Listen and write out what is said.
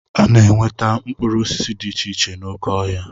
Ana-enweta mkpụrụ osisi dị iche iche n'oké ọhịa.